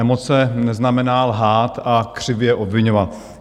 Emoce neznamená lhát a křivě obviňovat.